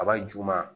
Aba juguman